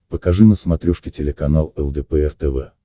покажи на смотрешке телеканал лдпр тв